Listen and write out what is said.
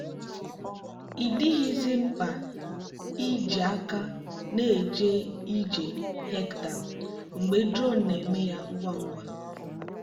ị dịghịzi mkpa iji aka na-eje ije hectare mgbe drone na-eme ya ngwa ngwa.